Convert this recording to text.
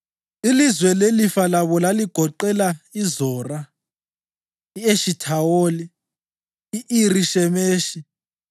Ilizwe lelifa labo laligoqela: iZora, i-Eshithawoli, i-Iri Shemeshi,